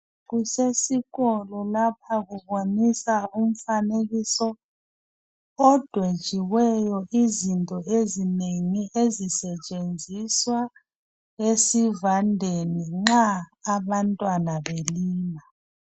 Kusesikolo lapha kuboniswa umfanekiso odwetshiweyo izinto ezinengi ezisetshenziswa esivandeni nxa abantwana belima.